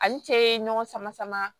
Ani cɛ ye ɲɔgɔn sama sama